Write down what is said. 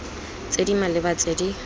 tse di maleba tse di